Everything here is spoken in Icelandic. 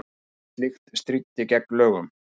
Slíkt stríddi gegn lögum